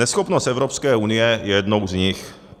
Neschopnost Evropské unie je jednou z nich.